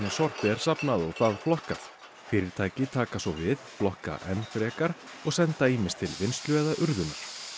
sorpi er safnað og það flokkað fyrirtæki taka svo við flokka enn frekar og senda ýmist til vinnslu eða urðunar